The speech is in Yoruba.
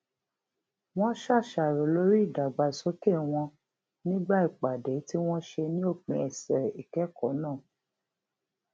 wón ṣàṣàrò lórí ìdàgbàsókè wọn nígbà ìpàdé tí wón ṣe ní òpin ọsẹ ìkẹkọọ náà